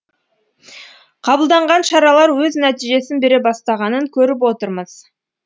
қабылданған шаралар өз нәтижесін бере бастағанын көріп отырмыз